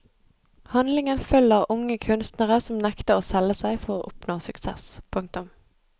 Handlingen følger unge kunstnere som nekter å selge seg for å oppnå suksess. punktum